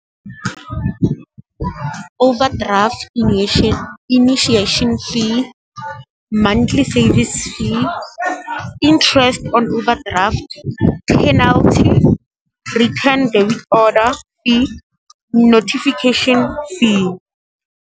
Overdraft initiation fee, monthly service fee, interest on overdraft, penalty, return debit order fee, notification fee.